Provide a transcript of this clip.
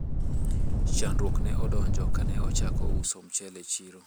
chandruok ne odonjo kane ochako uso mchele e chiro